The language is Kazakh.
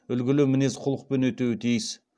үлгілі мінез құлықпен өтеуі тиіс